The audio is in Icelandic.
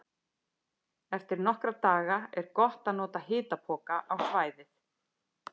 Eftir nokkra daga er gott að nota hitapoka á svæðið.